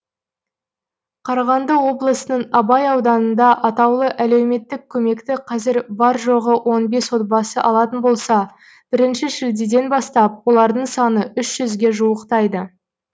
қарағанды облысының абай ауданында атаулы әлеуметтік көмекті қазір бар жоғы он бес отбасы алатын болса бірінші шілдеден бастап олардың саны үш жүзге жуықтайды